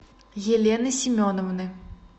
елены семеновны